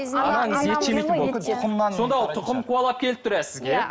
сонда ол тұқым қуалап келіп тұр иә сізге иә